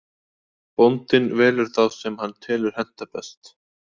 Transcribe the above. Bóndinn velur þá sem hann telur henta best.